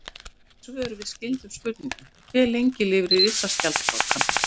Sjá einnig svör við skyldum spurningum: Hve lengi lifir risaskjaldbakan?